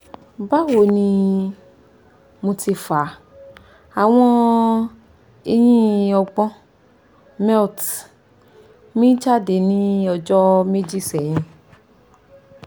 bawo ni mo ti fa awon eyin ogbon mette mi jade ni ojo meji sehin